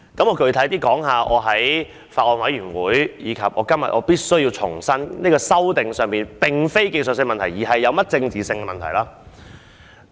我具體談談為何我在法案委員會，以及在今天重申《條例草案》的修訂並非技術性問題，而是政治問題。